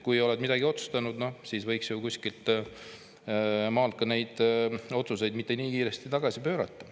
Kui oled midagi otsustanud, siis võiks ju kuskilt maalt neid otsuseid mitte nii kiiresti tagasi pöörata.